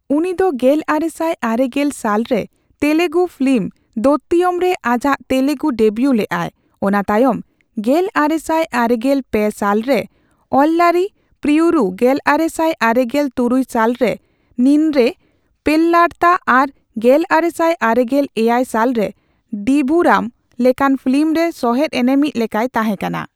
ᱩᱱᱤ ᱫᱚ ᱜᱮᱞᱟᱨᱮᱥᱟᱭ ᱟᱨᱮᱜᱮᱞ ᱥᱟᱞ ᱨᱮ ᱛᱮᱞᱜᱩ ᱯᱷᱤᱞᱤᱢ ᱫᱚᱛᱛᱣᱤᱭᱚᱢ ᱨᱮ ᱟᱡᱟᱜ ᱛᱮᱞᱜᱩ ᱰᱮᱵᱭᱩ ᱞᱮᱜᱼᱟᱭ, ᱚᱱᱟ ᱛᱟᱭᱚᱢ ᱜᱮᱞᱟᱨᱮᱥᱟᱭ ᱟᱨᱮᱜᱮᱞ ᱯᱮ ᱥᱟᱞ ᱨᱮ ᱚᱞᱞᱟᱨᱤ ᱯᱨᱤᱭᱩᱨᱩ, ᱜᱮᱞᱟᱨᱮᱥᱟᱭ ᱟᱨᱮᱜᱮᱞ ᱛᱩᱨᱩᱭ ᱥᱟᱞ ᱨᱮ ᱱᱤᱱᱱᱮ ᱯᱮᱞᱞᱟᱨᱛᱟ ᱟᱨ ᱜᱮᱞᱟᱨᱮᱥᱟᱭ ᱟᱨᱮᱜᱮᱞ ᱮᱭᱟᱭ ᱥᱟᱞ ᱨᱮ ᱰᱤᱸᱫᱷᱩᱨᱟᱢ ᱞᱮᱠᱟᱱ ᱯᱷᱤᱞᱤᱢ ᱨᱮ ᱥᱚᱦᱮᱫ ᱮᱱᱮᱢᱤᱡ ᱞᱮᱠᱟᱭ ᱛᱟᱸᱦᱮ ᱠᱟᱱᱟ ᱾